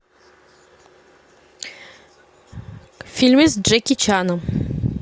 фильмы с джеки чаном